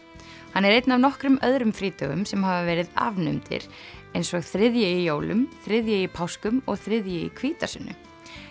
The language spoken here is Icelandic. hann er einn af nokkrum öðrum frídögum sem hafa verið afnumdir eins og þriðji í jólum þriðji í páskum og þriðji í hvítasunnu